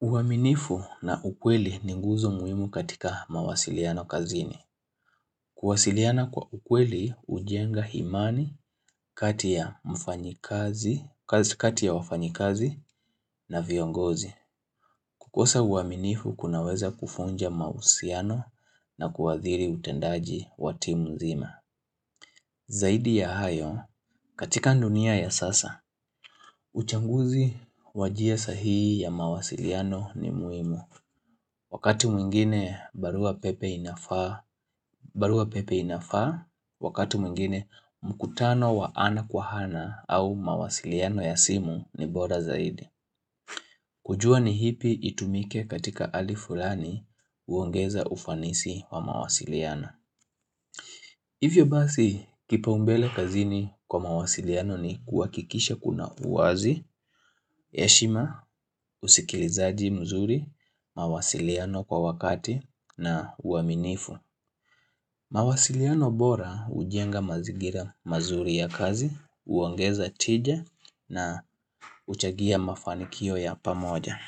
uaminifu na ukweli ni guzo muhimu katika mawasiliano kazini. Kuwasiliana kwa ukweli hujenga imani, kati ya wafanyikazi na viongozi. Kukosa uaminifu kunaweza kuvunja mahusiano na kuadhiri utendaji watimu nzima Zaidi ya hayo, katika dunia ya sasa uchaguzi wa njia sahihi ya mawasiliano ni muhimu Wakati mwingine barua pepe inafaa Wakati mwingine mkutano wa ana kwa ana au mawasiliano ya simu ni bora zaidi kujua ni ipi itumike katika hali fulani huongeza ufanisi wa mawasiliano. Hivyo basi kipaumbele kazini kwa mawasiliano ni kuhakikisha kuna uwazi, heshima, usikilizaji mzuri, mawasiliano kwa wakati na uaminifu. Mawasiliano bora hujenga mazingira mazuri ya kazi, huongeza tija na huchangia mafanikio ya pamoja.